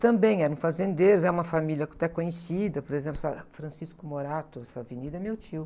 Também eram fazendeiros, é uma família até conhecida, por exemplo, essa Francisco Morato, essa avenida, é meu tio.